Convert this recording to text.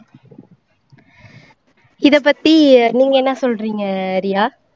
இதை பத்தி நீங்க என்ன சொல்றீங்க ஆஹ் ரியா